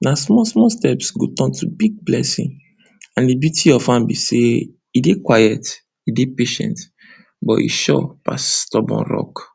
na small small steps go turn to big blessing and di beauty of farm be sey, e dey quiet, e dey patient, but e sure pass stubborn rock.